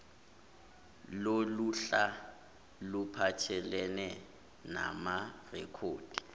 loluhla luphathelene namarekhodi